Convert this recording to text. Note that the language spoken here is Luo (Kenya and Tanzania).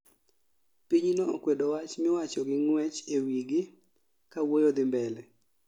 Pinyno okwedo wach miwacho gi ng'wech e wi gi ka wuoyo dhi mbele